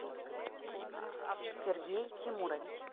сергей тимурович